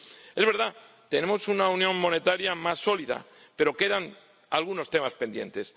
Es verdad, tenemos una unión monetaria más sólida, pero quedan algunos temas pendientes.